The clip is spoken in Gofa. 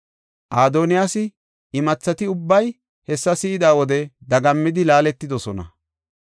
Adoniyaasa imathati ubbay hessa si7ida wode dagammidi, laaletidosona.